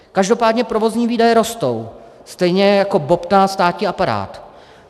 Každopádně provozní výdaje rostou, stejně jako bobtná státní aparát.